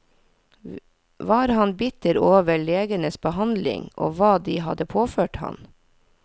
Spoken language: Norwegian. Var han bitter over legenes behandling og hva de hadde påført ham?